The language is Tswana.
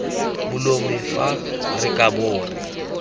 molomo fa re kabo re